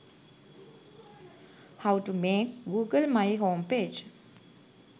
how to make google my homepage